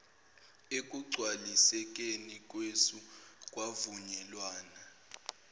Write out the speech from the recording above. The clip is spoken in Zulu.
ekugcwalisekeni kwesu kwavunyelwana